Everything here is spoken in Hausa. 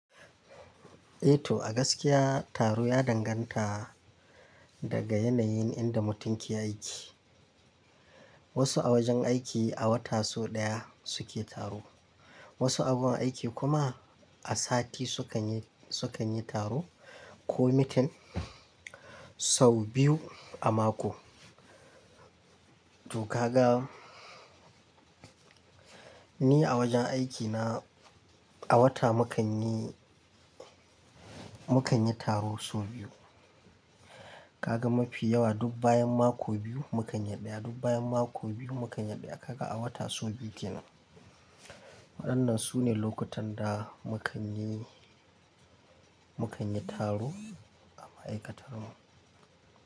Eh to, a gaskiya taro ya danganta daga yanayin inda mutum ke aiki. Wasu a wajen aiki a wata sau ɗaya suke taro. Wasu agun aiki kuma a sati sukan yi, sukan yi taro ko mitin sau biyu a mako. Tokaga ni a wajen aikina a wata mu kan yi, mu kan yi taro sau biyu. Kaga mafi yawa duk bayan mako biyu mu kan yi ɗaya, duk bayan mako biyu mu kan yi ɗaya. Kaga a wata sau biyu kenan. Waɗannan su ne lokutan da mu kan yi, mu kan yi taro a ma'aikatar mu.